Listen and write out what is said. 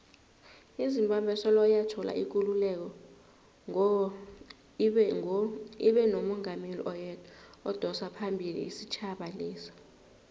izimbabwe soloyathola ikululeko ngo ibenomungameli oyedwa odosaphambili isitjhaba lesa